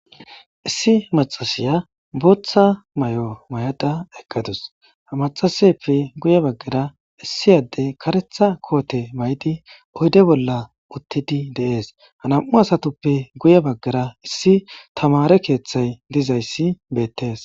issi macashiya booththa mayo mayada eqqadus he macasayeppe guye baggara issi adde karetha koote maydi oydde bolla uttidi de'ess ha nam'u asatuppe guye baggara issi tamare keeththay dizayssi beettees